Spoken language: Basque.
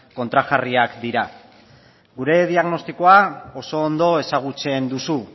kontrajarriak dira gure diagnostikoa oso ondo ezagutzen duzu